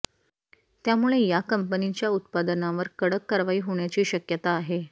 त्यामुळे या कंपनीच्या उत्पादनांवर कडक कारवाई होण्याची शक्यता आहे